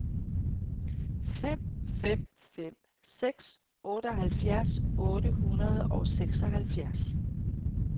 fem fem fem seks otteoghalvfjerds otte hundrede og seksoghalvfjerds